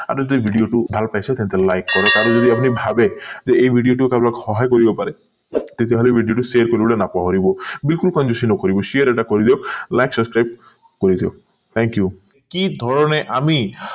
আপুনি যদি video টো ভাল পাইছে তেন্তে like কৰক আৰু যদি আপুনি ভাবে যে এই video টো কাৰোবাক সহায় কৰিব পাৰে তেতিয়া হলে share কৰিবলে নাপাহৰিব বিলকুল কণযুচি নকৰিব share এটা কৰি দিয়ক like subscribe কৰি দিয়ক thank you কি ধৰণে আমি